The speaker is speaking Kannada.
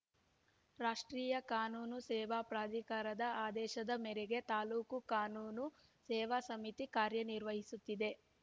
ರಾಷ್ಟ್ರೀಯ ಕಾನೂನು ಸೇವಾ ಪ್ರಾಧಿಕಾರದ ಆದೇಶದ ಮೇರೆಗೆ ತಾಲ್ಲೂಕು ಕಾನೂನು ಸೇವಾ ಸಮಿತಿ ಕಾರ್ಯ ನಿರ್ವಹಿಸುತ್ತಿದೆ